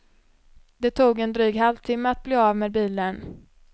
Det tog en dryg halvtimme att bli av med bilen.